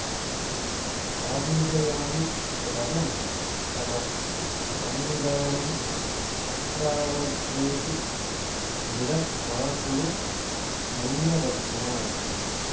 आवेदयामि यदहं तव तन्निदानं तत्रावधेहि मृड मा कुरु मय्यवज्ञाम्